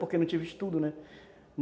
Porque não tive estudo, né?